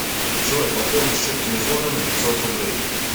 джой пополни счет телефона на пятьсот рублей